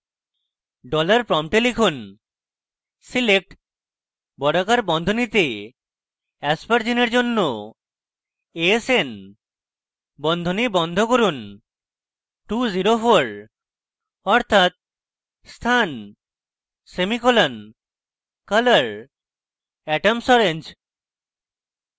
$prompt লিখুন: select বর্গাকার বন্ধনীতে aspergine at জন্য asn বন্ধনী বন্ধ করুন 204 অর্থাৎ স্থান semicolon color atoms orange